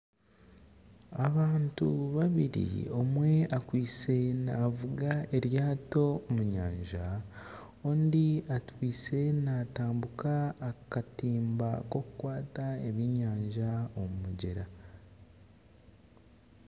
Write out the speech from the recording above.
Abantu babiri omwe akwaitse navuga eryaato omu nyanja ,ondiijo akwaitse natambuka akatimba kokukwata ebyenyanja omu mugyera.